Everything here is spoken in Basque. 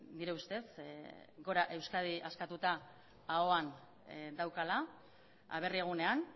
nire ustez gora euskadi askatuta ahoan daukala aberri egunean